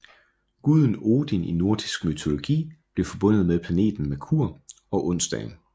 Guden Odin i nordisk mytologi blev forbundet med planeten Merkur og onsdagen